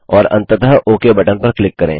और अंततः okay button पर क्लिक करें